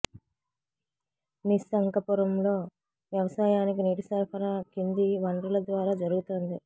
నిస్సంకపురంలో వ్యవసాయానికి నీటి సరఫరా కింది వనరుల ద్వారా జరుగుతోంది